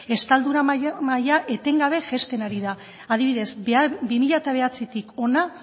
estaldura maila etengabe jaisten ari da adibidez bi mila bederatzitik hona